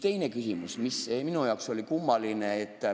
Teine küsimus, mis minu arvates oli kummaline.